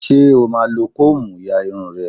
Ṣé o máa lo kóòmù ya irun rẹ?